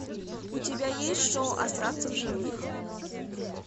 у тебя есть шоу остаться в живых